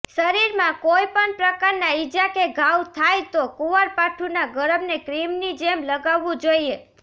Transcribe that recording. શરીરમાં કોઈપણ પ્રકારના ઈજા કે ઘાવ થાય તો કુવારપાઠુંના ગરબને ક્રીમની જેમ લગાવવું જોઈએ